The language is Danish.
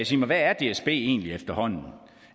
sig mig hvad er dsb egentlig efterhånden